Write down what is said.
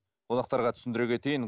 қонақтарға түсіндіре кетейін